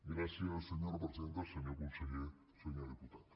gràcies senyora presidenta senyor conseller senyor diputat